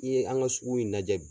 N'i ye an ka sugu in lajɛ bi